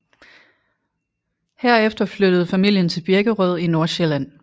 Herefter flyttede familien til Birkerød i Nordsjælland